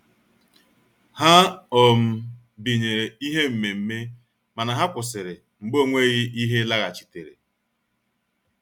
Ha um binyere ihe mmemme mana ha kwụsịrị mgbe ọ nweghị ihe laghachitere.